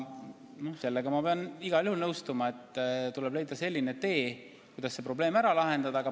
Sellega ma pean igal juhul nõustuma, et tuleb leida tee, kuidas see probleem ära lahendada.